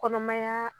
Kɔnɔmaya